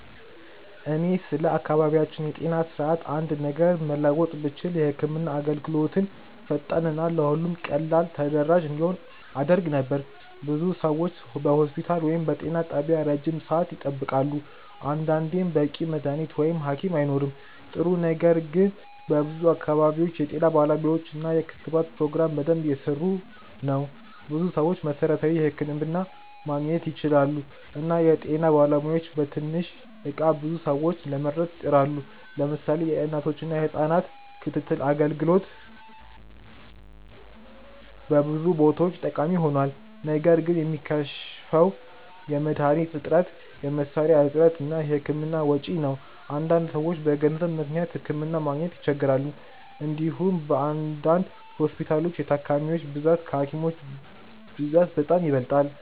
እኔ ስለ አካባቢያችን የጤና ስርዓት አንድ ነገር መለወጥ ብችል የህክምና አገልግሎትን ፈጣን እና ለሁሉም ቀላል ተደራሽ እንዲሆን አደርግ ነበር። ብዙ ሰዎች በሆስፒታል ወይም በጤና ጣቢያ ረጅም ሰዓት ይጠብቃሉ፣ አንዳንዴም በቂ መድሀኒት ወይም ሀኪም አይኖርም። ጥሩ ነገር ግን በብዙ አካባቢዎች የጤና ጣቢያዎች እና የክትባት ፕሮግራሞች በደንብ እየሰሩ ናቸው። ብዙ ሰዎች መሠረታዊ ሕክምና ማግኘት ይችላሉ እና የጤና ባለሙያዎችም በትንሽ እቃ ብዙ ሰዎችን ለመርዳት ይጥራሉ። ለምሳሌ የእናቶችና የህጻናት ክትትል አገልግሎት በብዙ ቦታዎች ጠቃሚ ሆኗል። ነገር ግን የሚከሽፈው የመድሀኒት እጥረት፣ የመሳሪያ እጥረት እና የህክምና ወጪ ነው። አንዳንድ ሰዎች በገንዘብ ምክንያት ሕክምና ማግኘት ይቸገራሉ። እንዲሁም በአንዳንድ ሆስፒታሎች የታካሚዎች ብዛት ከሀኪሞች ብዛት በጣም ይበልጣል።